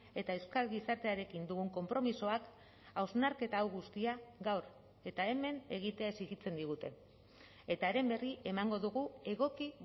eta euskal gizartearekin dugun konpromisoak hausnarketa hau guztia gaur eta hemen egitea exijitzen digute eta haren berri emango dugu egoki